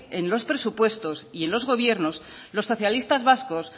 en los presupuestos y en los gobiernos los socialistas vascos